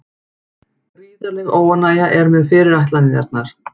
Gríðarleg óánægja er með fyrirætlanirnar